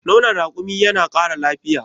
nonon rakumi yana Kara lafiya